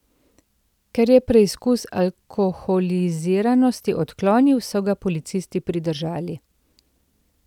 Ker je preizkus alkoholiziranosti odklonil, so ga policisti pridržali.